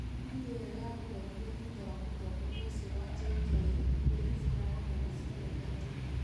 Ngui ĩyo yagurarire thũtha wa mũtongoria ũcio wa JK kwĩribũra hamwe na ciana ithatũ